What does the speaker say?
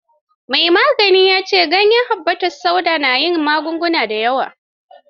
Mai maganin ya ce kwayar habbatus sauda na yin magunguna da yawa.